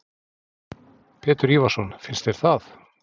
Pétur Ívarsson: Finnst þér það?